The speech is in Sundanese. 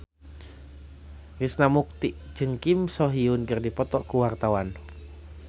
Krishna Mukti jeung Kim So Hyun keur dipoto ku wartawan